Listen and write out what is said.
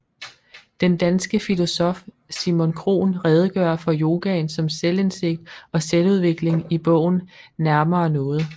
Den danske filosof Simon Krohn redegør for yogaen som selvindsigt og selvudvikling i bogen Nærmere noget